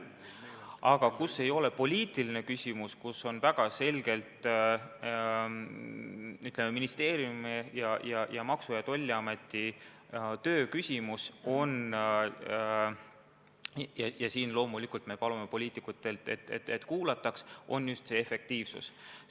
Aga mis ei ole poliitiline küsimus, mis on väga selgelt ministeeriumi ning Maksu- ja Tolliameti töö küsimus – ja siin me loomulikult palume poliitikutelt, et meid kuulataks –, on just süsteemi efektiivsus.